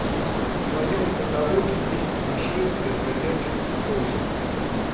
в твоем каталоге есть нашествие бродячих кошек